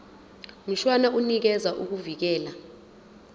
mshwana unikeza ukuvikelwa